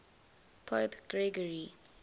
pope gregory